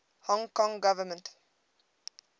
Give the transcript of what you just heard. hong kong government